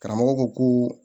Karamɔgɔ ko ko